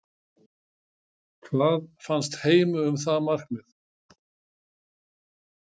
Hvað fannst Heimi um það markmið?